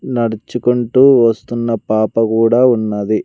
నడుచుకుంటూ వస్తున్న పాప కూడా ఉన్నది.